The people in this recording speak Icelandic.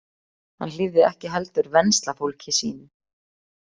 Hann hlífði ekki heldur venslafólki sínu.